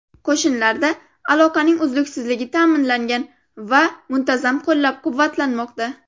Qo‘shinlarda aloqaning uzluksizligi ta’minlangan va muntazam qo‘llab-quvvatlanmoqda.